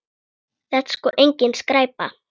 Þetta er sko engin skræpa.